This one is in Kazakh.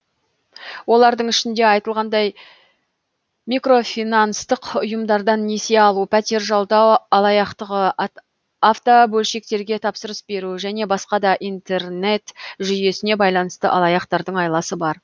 олардың ішінде айтылғандай микрофинанстық ұйымдардан несие алу пәтер жалдау алаяқтығы автобөлшектерге тапсырыс беру және басқа да интернет жүйесіне байланысты алаяқтардың айласы бар